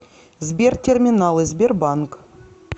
сбер терминалы сбербанк